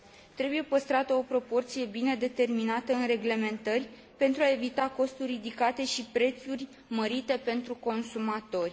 Trebuie păstrată o proporție bine determinată în reglementări, pentru a evita costuri ridicate și prețuri mărite pentru consumatori.